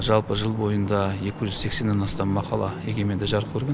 жалпы жыл бойында екі жүз сексеннен астам мақала егеменде жарық көрген